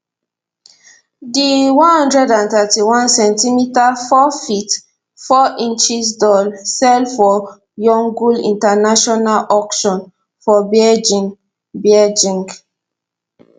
di one hundred and thirty one centimeter four feet four inch doll sell for yongle international auction for beijing beijing